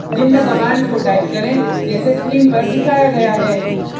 निम्न कमांड्स को टाइप करें जैसे स्क्रीन पर दिखाया गया है